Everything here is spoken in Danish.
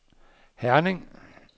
Herning